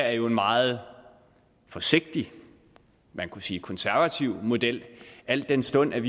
er jo en meget forsigtig man kunne sige konservativ model al den stund